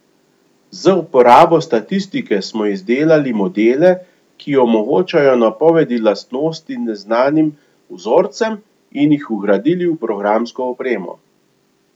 Z uporabo statistike smo izdelali modele, ki omogočajo napovedi lastnosti neznanim vzorcem, in jih vgradili v programsko opremo.